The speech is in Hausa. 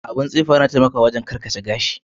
Abin tsifa Yana taimaka karkata gashi.